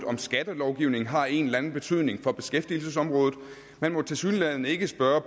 om skattelovgivningen har en eller anden betydning for beskæftigelsesområdet man må tilsyneladende ikke spørge